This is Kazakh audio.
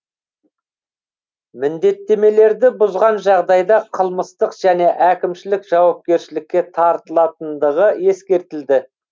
міндеттемелерді бұзған жағдайда қылмыстық және әкімшілік жауапкершілікке тартылатындығы ескертілді